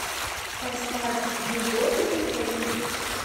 поставь егор не помню